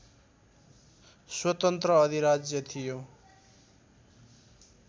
स्वतन्त्र अधिराज्य थियो